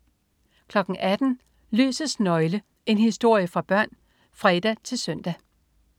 18.00 Lysets nøgle. En historie for børn (fre-søn)